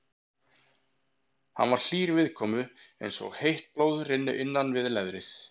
Hann var hlýr viðkomu eins og heitt blóð rynni innan við leðrið.